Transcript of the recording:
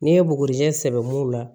N'i ye bugurijɛ sɛbɛn mun la